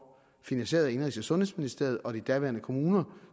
finansieret af indenrigs og sundhedsministeriet og de daværende kommuner